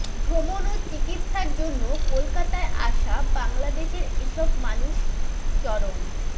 ভ্রমণ ও চিকিৎসার জন্য কলকাতায় আসা বাংলাদেশের এসব মানুষ চরম